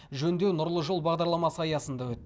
жөндеу нұрлы жол бағдарламасы аясында өтті